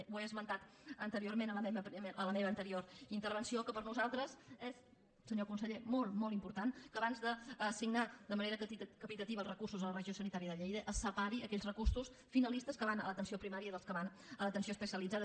he esmentat anteriorment en la meva primera intervenció que per nosaltres és senyor conseller molt molt important que abans d’assignar de manera capitativa els recursos a la regió sanitària de lleida es separi aquells recursos finalistes que van a l’atenció primària dels que van a l’atenció especialitzada